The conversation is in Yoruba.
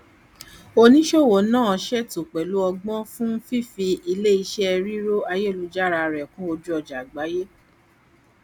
oníṣòwò náà ṣe ètò pẹlú ọgbọn fún fífi iléiṣẹ rírò ayélujára rẹ kún ojúọjà àgbáyé